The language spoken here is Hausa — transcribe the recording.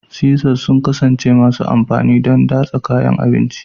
Scissors sun ƙasance masu amfani don datsa kayan abinci